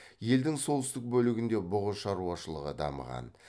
елдің солтүстік бөлігінде бұғы шаруашылығы дамыған